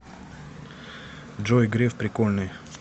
джой греф прикольный